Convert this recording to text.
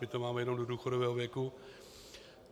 My to máme jen do důchodového věku.